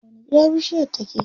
A wani gida bishiyar take?